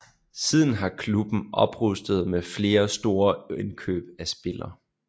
Siden har klubben oprustet med flere store indkøb af spillere